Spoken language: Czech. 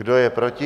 Kdo je proti?